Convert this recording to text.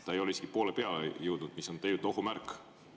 Ta ei ole isegi poole peale jõudnud, mis on ohu märk.